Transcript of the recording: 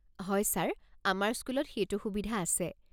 হয় ছাৰ, আমাৰ স্কুলত সেইটো সুবিধা আছে।